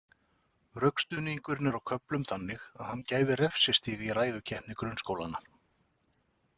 Rökstuðningurinn er á köflum þannig að hann gæfi refsistig í ræðukeppni grunnskólanna.